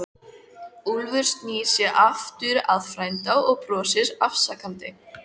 Úlfur snýr sér aftur að frænda og brosir afsakandi.